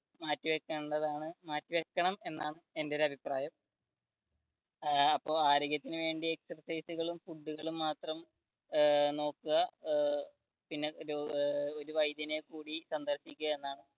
മാറ്റിവെക്കേണ്ടതാണ് മാറ്റിവെക്കണം എന്നാണ് എന്റെ ഒരു അഭിപ്രായം ഏർ ആരോഗ്യത്തിനു വേണ്ടി exercise കളും food കളും മാത്രം ഏർ നോക്കുക ഏർ പിന്നെ ഏർ ഒരു വൈദ്യനെ കുടി ഒരു സന്ദർശിക്കുക എന്നാണ്